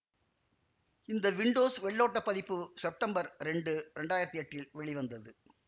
இந்த விண்டோஸ் வெள்ளோட்டப் பதிப்பு செப்டம்பர் இரண்டு இரண்டாயிரத்தி எட்டில் வெளிவந்தது